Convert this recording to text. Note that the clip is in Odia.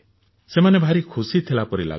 ସେମାନେ ଭାରି ଖୁସି ଥିଲାପରି ଲାଗୁଥିଲେ